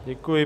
Děkuji.